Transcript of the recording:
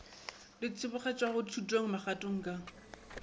di tsebagatšwago thutong magatong ka